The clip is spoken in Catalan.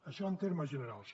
això en termes generals